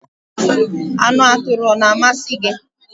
Anu aturu o na-amasi gi?